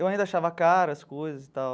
Eu ainda achava caro, as coisas e tal.